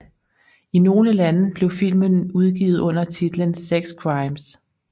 I nogle lande blev filmen udgivet under titlen Sex Crimes